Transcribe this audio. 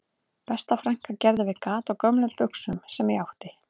Besta frænka gerði við gat á gömlum buxum sem ég átti